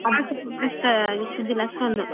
ಅಷ್ಟೊಂದು.